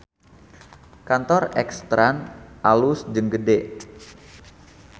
Kantor X trans alus jeung gede